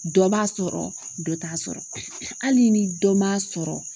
Dɔ b'a sɔrɔ dɔ t'a sɔrɔ. Hali ni dɔ m'a sɔrɔ